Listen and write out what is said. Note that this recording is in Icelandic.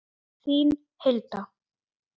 Þín Hilda.